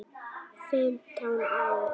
Fimmtán ára.